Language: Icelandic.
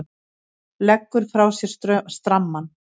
Leggur frá sér strammann.